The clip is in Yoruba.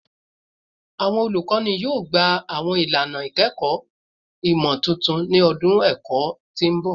Awọn olukọni yoo gba awọn ilana ikẹkọ imotuntun ni ọdun ẹkọ ti n bọ